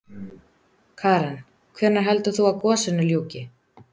Karen: Hvenær heldur þú að gosinu ljúki?